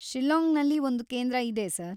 ಶಿಲ್ಲಾಂಗ್‌ನಲ್ಲಿ ಒಂದು ಕೇಂದ್ರ ಇದೆ, ಸರ್.